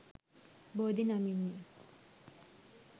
බෝධි නමින් ය.